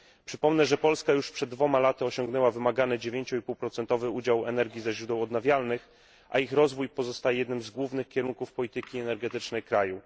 Przypomnę, że Polska już przed dwoma laty osiągnęła wymagany 9,5 udział w energii ze źródeł odnawialnych, a ich rozwój pozostaje jednym z głównych kierunków polityki energetycznej kraju.